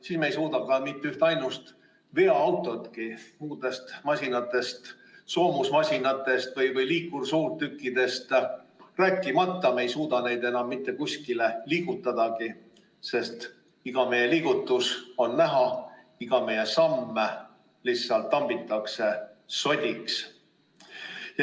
Siis me ei suuda mitte üht ainustki veoautotki, muudest masinatest, soomusmasinatest või liikursuurtükkidest rääkimata, enam kuskile liigutadagi, sest iga meie liigutus on näha, iga meie samm lihtsalt tambitakse sodiks.